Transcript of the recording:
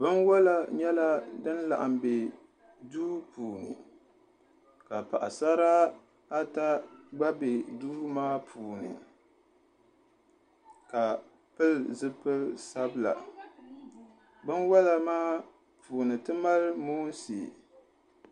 Binwola nyɛla din laɣam bɛ duu maa puuni ka paɣasara ata gba laɣam bɛ duu maa puuni ka pili zipili sabila binwola maa puuni ti mali moonsi